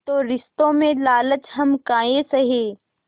तो रिश्तों में लालच हम काहे सहे